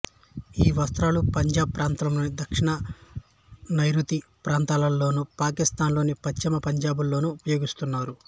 ఈ వస్త్రాలు పంజాబ్ ప్రాంతంలోని దక్షిణ నైఋతి ప్రాంతాలలోనూ పాకిస్తాన్ లోని పశ్చిమ పంజాబ్ లోనూ ఉపయోగిస్తారు